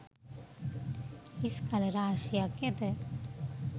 හිස් කළ රාශියක් ඇත.